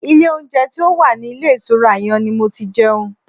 Ilé oúnjẹ tí ó wà ní ilé ìtura yẹn ni mo ti jẹun.